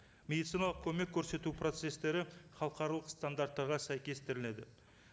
медициналық көмек көрсету процесстері халықаралық стандарттарға сәйкестіріледі